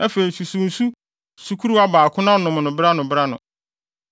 Afei susuw nsu sukuruwa baako na nom no bere ano bere ano.